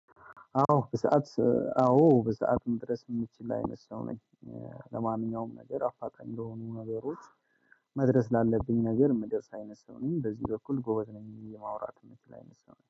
አዎ በሰአት አዎ በሰአት መድረስ የምችል አይነት ሰው ነኝ። ለማንኛውም ነገር አፋጣኝ የለሆኑ ነገሮች። መድረስ ላለብኝ ነገር ምደርስ አይነት ሰው ነኝ በዚህ በኩል ጎበዝ ነኝ የማውራት የምችል አይነት ሰው ነኝ